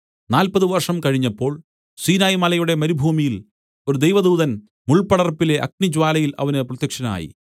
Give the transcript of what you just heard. നാല്പത് വർഷം കഴിഞ്ഞപ്പോൾ സീനായ്‌ മലയുടെ മരുഭൂമിയിൽ ഒരു ദൈവദൂതൻ മുൾപ്പടർപ്പിലെ അഗ്നിജ്വാലയിൽ അവന് പ്രത്യക്ഷനായി